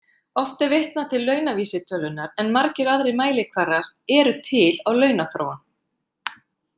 Oft er vitnað til launavísitölunnar en margir aðrir mælikvarðar eru til á launaþróun.